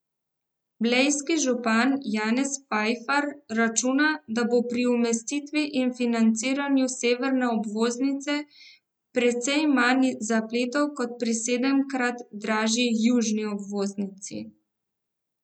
Blejski župan Janez Fajfar računa, da bo pri umestitvi in financiranju severne obvoznice precej manj zapletov kot pri sedemkrat dražji južni obvoznici.